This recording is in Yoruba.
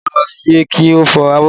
Àlàmú ló yẹ kí o fọ abọ́